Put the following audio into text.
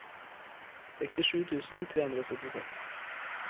sekstisju tusen tre hundre og syttiseks